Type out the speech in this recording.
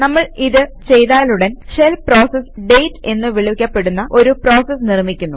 നമ്മൾ ഇത് ചെയ്താലുടൻ ഷെൽ പ്രോസസ് ഡേറ്റ് എന്നു വിളിക്കപ്പെടുന്ന ഒരു പ്രോസസ് നിർമിക്കുന്നു